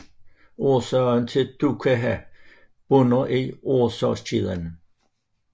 Årsagen til dukkha bunder i årsagskæden